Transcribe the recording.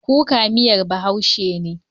Kuka miyar Bahaushe ne.